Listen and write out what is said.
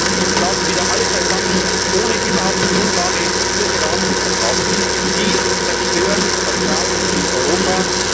Auch gestern saßen wieder alle beisammen, ohne überhaupt eine Grundlage zur Beratung zu haben. Sie zerstören Vertrauen in Europa.